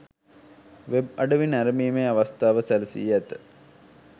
web අඩවි නැරඹීමේ අවස්ථාව සැලසී ඇත